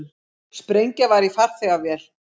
Sprengja var í farþegavél